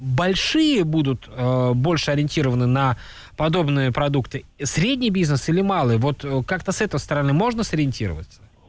большие будут больше ориентированы на подобные продукты средний бизнес или малый вот как-то с этой стороны можно сориентироваться